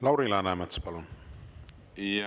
Lauri Läänemets, palun!